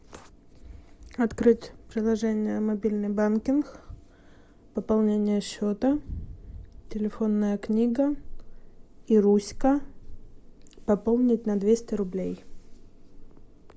открыть приложение мобильный банкинг пополнение счета телефонная книга ируська пополнить на двести рублей